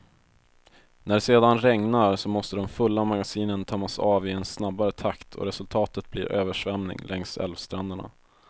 När det sedan regnar, så måste de fulla magasinen tömmas av i en snabbare takt och resultatet blir översvämning längs älvstränderna.